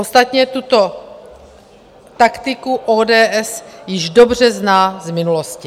Ostatně tuto taktiku ODS již dobře zná z minulosti.